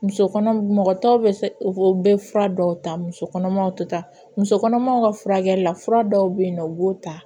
Muso kɔnɔ mɔgɔ tɔw bɛ fura dɔw ta muso kɔnɔmaw tɛ taa muso kɔnɔmaw ka furakɛli la fura dɔw bɛ yen nɔ u b'o ta